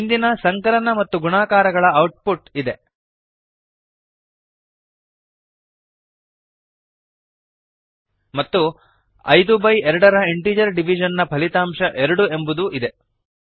ಹಿಂದಿನ ಸಂಕಲನ ಮತ್ತು ಗುಣಾಕಾರ ಗಳ ಔಟ್ ಪುಟ್ಇದೆ ಮತ್ತು ಐದು ಬೈ ಎರಡರ ಇಂಟಿಜರ್ ಡಿವಿಷನ್ ನ ಫಲಿತಾಂಶ ಎರಡು ಎಂಬುದೂ ಇದೆ